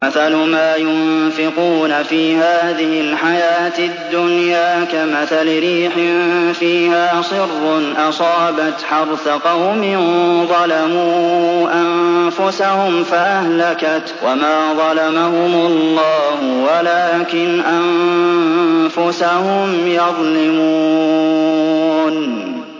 مَثَلُ مَا يُنفِقُونَ فِي هَٰذِهِ الْحَيَاةِ الدُّنْيَا كَمَثَلِ رِيحٍ فِيهَا صِرٌّ أَصَابَتْ حَرْثَ قَوْمٍ ظَلَمُوا أَنفُسَهُمْ فَأَهْلَكَتْهُ ۚ وَمَا ظَلَمَهُمُ اللَّهُ وَلَٰكِنْ أَنفُسَهُمْ يَظْلِمُونَ